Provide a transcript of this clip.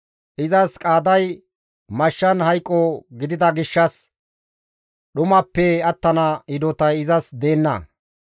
Izas qaaday mashshan hayqo gidida gishshas, dhumappe attana hidotay izas deenna.